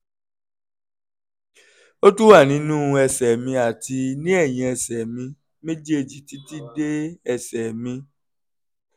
ó tún wà nínú ẹsẹ̀ mi àti ní ẹ̀yìn ẹsẹ̀ mi méjèèjì títí dé ẹsẹ̀ mi